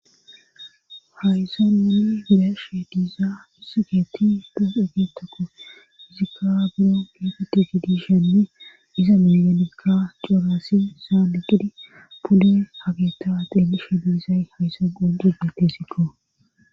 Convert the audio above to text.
hayssa nuni be'ishe diizaa musiketi des egeetakko hizikka buro geefeti gidi shenni iza meganikka coraasi saali qidi pudde hageta ateelishe biizay hayssan qoncidesikko